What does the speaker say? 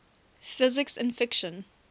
physics in fiction